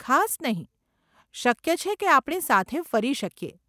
ખાસ નહીં. શક્ય છે કે આપણે સાથે ફરી શકીએ.